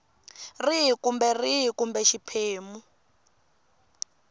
rihi kumbe rihi kumbe xiphemu